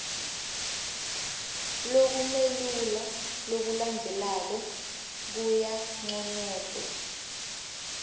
lokumelula lokulandzelako kuyanconotwa